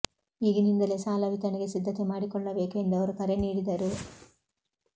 ಈಗಿನಿಂದಲೇ ಸಾಲ ವಿತರಣೆಗೆ ಸಿದ್ಧತೆ ಮಾಡಿಕೊಳ್ಳಬೇಕು ಎಂದು ಅವರು ಕರೆ ನೀಡಿದರು